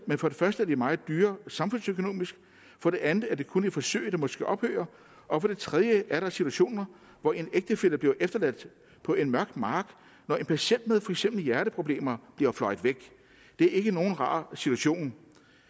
men for det første er de meget dyre samfundsøkonomisk for det andet er det kun et forsøg der måske ophører og for det tredje er der situationer hvor en ægtefælle bliver efterladt på en mørk mark når en patient med for eksempel hjerteproblemer bliver fløjet væk det er ikke nogen rar situation